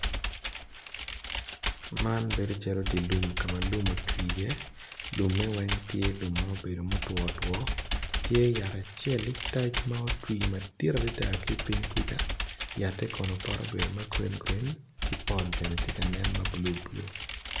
Man bedo calo dilum kama lum otwi i ye lumme weng tye lum ama obedo lummo two two tye yat acel litac ma otwi madwong adada ki ping kuca yatte kono pote obedo ma green ki pol bene tye ka nen ma blue blue.